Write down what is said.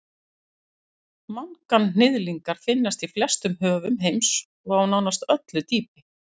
manganhnyðlingar finnast í flestum höfum heims og á nánast öllu dýpi